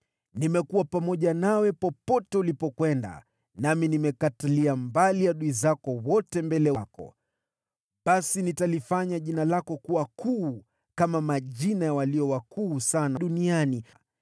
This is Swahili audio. Nimekuwa pamoja nawe popote ulipokwenda, nami nimekuondolea mbali adui zako wote mbele yako. Basi nitalifanya jina lako kuwa kuu kama majina ya watu walio wakuu sana duniani.